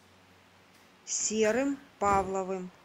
серым павловым